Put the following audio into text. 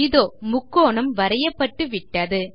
இதோ முக்கோணம் வரையப்பட்டு விட்டது